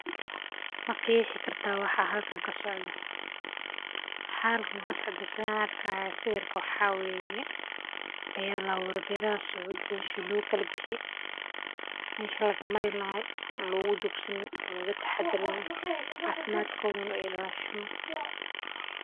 Ma qeexi kartaa waxa halkan ka socda, waxaa kalkan kasocda sithan arkaya siwirka waxaa weye beera laabure, beerahaso jinsi lagu kala bixiye, meshi laga mari lahay si a logu jogsanin,o loga taxadaro cafimadkodhana uilashamo.